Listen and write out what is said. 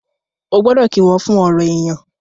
o gbódò kí wón fún ọrọ èyán.